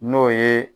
N'o ye